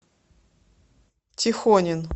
тихонин